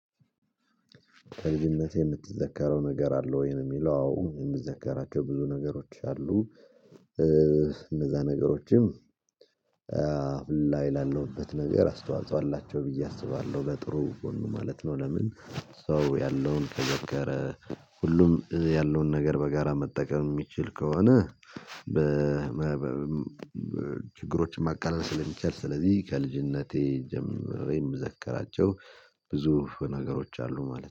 ከልጅነትህ የምትዘከረው ነገር አለው ወይ ነው የሚለው የምትዘከራቸው ብዙ ነገሮች አሉ እነዛ ነገሮችም ላይ ላለውበት ነገር አስተዋጽኦ አላቸው ብዬ አስባለሁ ለጥሩ ጎኑ ማለት ነው ለምን ሰው ያለውን ከዘከረ ሁሉም ያለውን ነገር በጋራ መጠቀም የሚችል ከሆነ በ ችግሮችን ማቃለም ስለሚቻል ስለዚህ ከልጅነቴ ጀምሬ የምዘከራቸው ብዙ ነገሮች አሉ ማለት ነው።